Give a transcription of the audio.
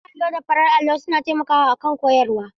Bakar allo da farar allo suna taimakawa akan koyarwa.